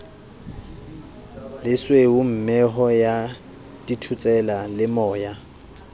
lesweu mehoo ya dithotsela lemoya